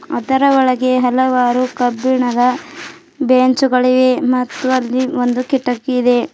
ಅದರ ಒಳಗೆ ಹಲವಾರು ಕಬ್ಬಿಣದ ಬೆಂಚುಗಳಿವೆ ಮತ್ತು ಅಲ್ಲಿ ಒಂದು ಕಿಟಕಿ ಇದೆ.